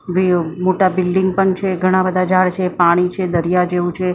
Rio મોટા building પણ છે ઘણા-બધા ઝાડ છે પાણી છે દરિયા જેવુ છે.